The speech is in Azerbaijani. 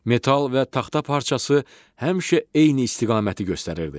Metal və taxta parçası həmişə eyni istiqaməti göstərirdi.